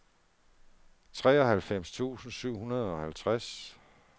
treoghalvfems tusind syv hundrede og halvtreds